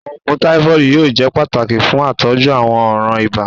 Awọn oogun tafoidi yoo jẹ pataki fun atọju awọn ọran iba